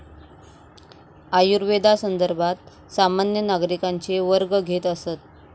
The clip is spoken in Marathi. आयुर्वेदासंदर्भात सामान्य नागरिकांचे वर्ग घेत असत.